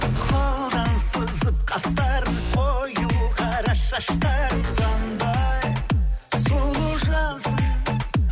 қолдан сызып қастарын қою қара шаштарың қандай сұлу жансың